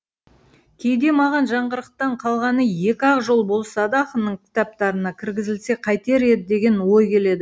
кейде маған жаңғырықтан қалғаны екі ақ жол болса да ақынның кітаптарына кіргізілсе қайтер еді деген ой келеді